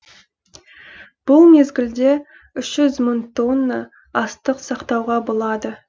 бұл мезгілде үш жүз мың тонна астық сақтауға болады